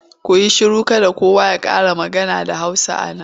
Ku yi shiru! Kada kowa ya ƙara magana da Hausa a nan.